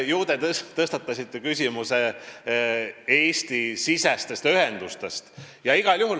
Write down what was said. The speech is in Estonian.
Ju te tõstatasite tegelikult Eesti-siseste ühenduste küsimuse.